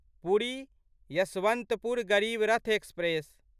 Puri Yesvantpur Garib Rath express